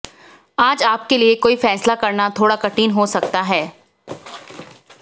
आज आपके लिए कोई फैसला करना थोड़ा कठिन हो सकता है